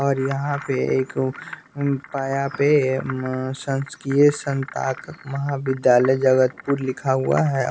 और यहाँ पे एक पाया पे संस्कीय संताक महाविद्यालय जगतपुर लिखा हुआ है।